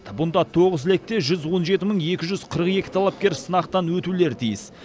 бұнда тоғыз лекте жүз он жеті мың екі жүз қырық екі талапкер сынақтан өтулері тиіс